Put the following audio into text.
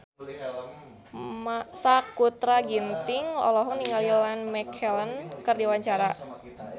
Sakutra Ginting olohok ningali Ian McKellen keur diwawancara